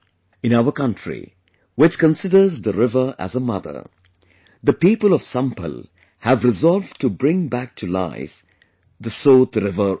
In our country, which considers the river as a Mother, the people of Sambhal have resolved to bring back to life Sotriver also